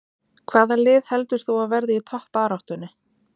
Hvaða lið heldur þú að verði í toppbaráttunni?